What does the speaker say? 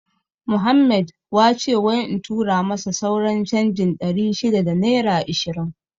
Muhammed wace wai in tura masa sauran canjin ɗari shida da naira ishirin